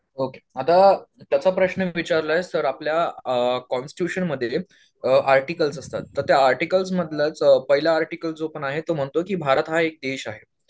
Okay आता त्याचा प्रश्न विचारलंयस तर आपल्या अ कोंस्ट्युशनमध्ये अ आर्टिकल्स असतात तर त्या आर्टिकल्स मधलंच पहिलं आर्टिकल जो पण आहे तो म्हणतो की भारत हा एक देश आहे.